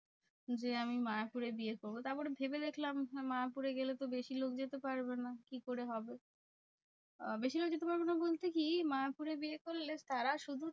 যে আমি মায়াপুরে বিয়ে করবো। তারপরে ভেবে দেখলাম যে মায়াপুরে গেলে তো বেশি লোক যেতে পারবে না, কি করে হবে? আহ বেশিরভাগ যেতে পারবে না বলতে কি? মায়াপুরে বিয়ে করলে তারা শুধু